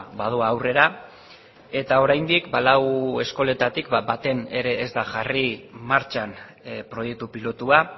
badoa aurrera eta oraindik lau eskoletatik baten ere ez da jarri martxan proiektu pilotua